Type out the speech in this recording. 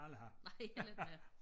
Nej heller ikke mig